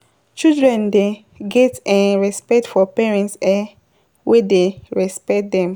Children dey get um respect for parents um wey dey respect dem.